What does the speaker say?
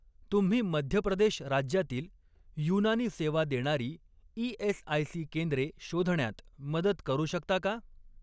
तुम्ही मध्य प्रदेश राज्यातील युनानी सेवा देणारी ई.एस.आय.सी. केंद्रे शोधण्यात मदत करू शकता का?